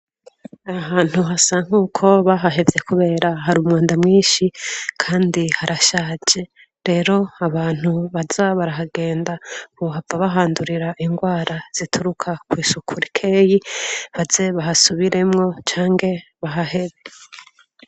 Ahantu hasa nkuko bahahevye kubera hari umwanda mwinshi kandi harashaje rero abantu baza barahagenda bohava bahandurira ingwara zituruka kwisuku rikeyi baze bahasubiremwo canke bahahebe.